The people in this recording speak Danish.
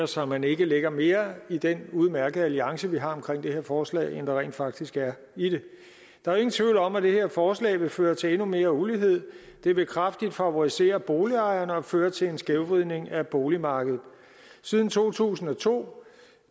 så man ikke lægger mere i den udmærkede alliance vi har omkring det her forslag end der rent faktisk er i det der er ingen tvivl om at det her forslag vil føre til endnu mere ulighed det vil kraftigt favorisere boligejerne og føre til en skævvridning af boligmarkedet siden to tusind og to